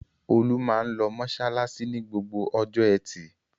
Olú máa ń lọ mọṣáláṣí ní gbogbo ọjọ́ ẹtì.